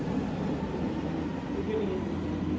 begynd igen